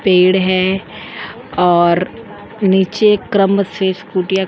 पेड़ है और नीचे क्रम से स्कूटीयाँ --